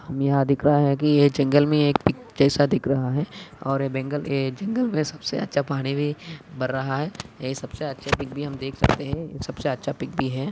यहा दिख रहा है कि ये जंगल मे एक कि दिख रहा है और ये बंगल ये जंगल मे सबसे अच्छा पानी भी भर रहा है यही सबसे अच्छा पीक भी हम देख सकते है। सबसे अच्छा पीक भी है।